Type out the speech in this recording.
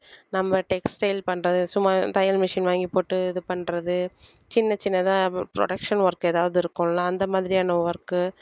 நம்ம textile பண்றது சும்மா தையல் machine வாங்கி போட்டு இது பண்றது சின்ன சின்னதா ஒரு production work ஏதாவது இருக்கும்ல அந்த மாதிரியான work கு